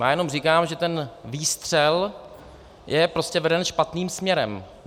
Já jenom říkám, že ten výstřel je prostě veden špatným směrem.